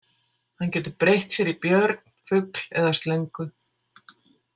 Hann getur breytt sér í björn, fugl eða slöngu